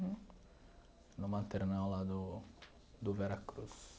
No maternal lá do do Veracruz.